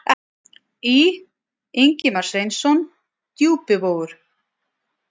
Í: Ingimar Sveinsson: Djúpivogur.